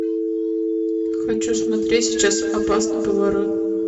хочу смотреть сейчас опасный поворот